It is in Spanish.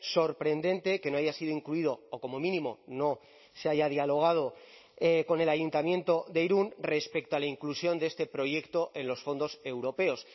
sorprendente que no haya sido incluido o como mínimo no se haya dialogado con el ayuntamiento de irún respecto a la inclusión de este proyecto en los fondos europeos